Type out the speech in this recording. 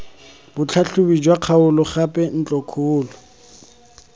botlhatlhobi jwa kgaolo gape ntlokgolo